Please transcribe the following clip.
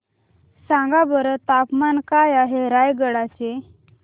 सांगा बरं तापमान काय आहे रायगडा चे